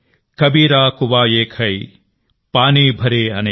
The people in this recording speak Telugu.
కబీరా కువా ఏక్ హై పానీ భరే అనేక్